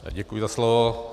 Děkuji za slovo.